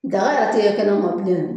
Daga yɛrɛ tɛ ye kɛma bilen